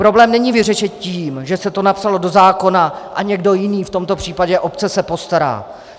Problém není vyřešen tím, že se to napsalo do zákona a někdo jiný, v tomto případě obce, se postará.